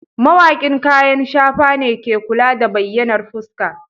Mawaƙin kayan shafa ne ke kula da bayyanar fuska.